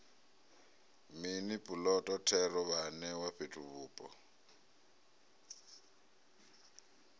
mini puloto thero vhaanewa fhethuvhupo